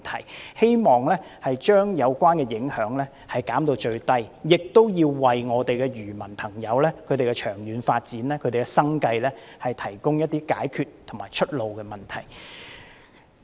我們希望政府將有關的影響減至最低，亦要為漁民的長遠發展和生計問題提供解決方案和出路。